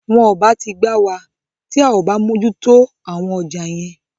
Wọn ò bá ti gbá wa, tí a ò bá mójú tó àwọn ọjà yẹn.